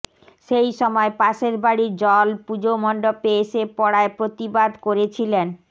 সেই সময় পাশের বাড়ির জল পুজোমণ্ডপে এসে পড়ায় প্রতিবাদ করেছিলেন